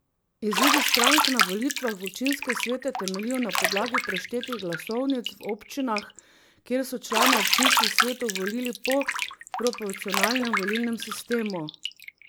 Izidi strank na volitvah v občinske svete temeljijo na podlagi preštetih glasovnic v občinah, kjer so člane občinskih svetov volili po proporcionalnem volilnem sistemu.